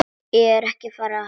Ég er ekki að hæðast.